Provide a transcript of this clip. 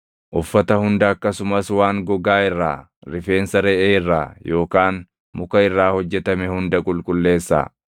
Uffata hunda akkasumas waan gogaa irraa, rifeensa reʼee irraa yookaan muka irraa hojjetame hunda qulqulleessaa.”